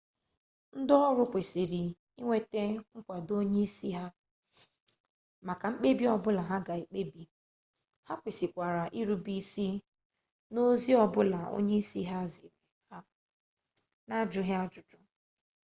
ndi oru kwesiri inweta nkwado onye isi ha maka mkpebi obula ha ga ekpebi ha kwesikwara irube isi n'ozi o bula onye isi ha ziri ha n'ajughi ajuju